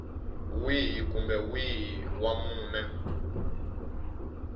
wihi kumbe wihi wa mune